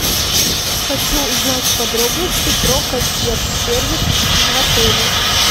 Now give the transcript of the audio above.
хочу узнать подробности про консьерж сервис в отеле